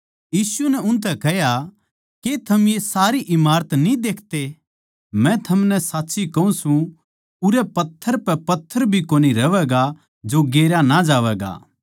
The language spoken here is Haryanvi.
यीशु नै उनतै कह्या के थम ये सारे इमारत न्ही देखते मै थमनै साच्ची कहूँ सूं उरै पत्थर पै पत्थर भी कोनी रहवैगा जो गेरया ना जावैगा